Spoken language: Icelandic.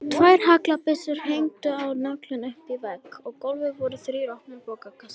Tvær haglabyssur héngu á nöglum uppi á vegg og á gólfinu voru þrír opnir bókakassar.